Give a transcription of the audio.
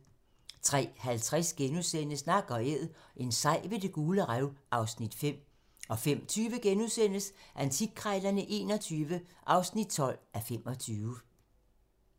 03:50: Nak & æd - en sej ved Det Gule Rev (Afs. 5)* 05:20: Antikkrejlerne XXI (12:25)*